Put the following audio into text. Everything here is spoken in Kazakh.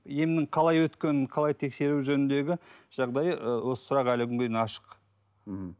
емнің қалай өткенін қалай тексеру жөніндегі жағдайы ы осы сұрақ әлі күнге дейін ашық мхм